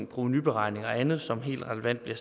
provenuberegninger og andet som helt relevant er